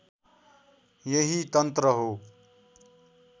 यही तन्त्र हो